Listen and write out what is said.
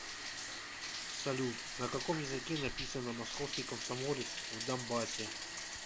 салют на каком языке написано московский комсомолец в донбассе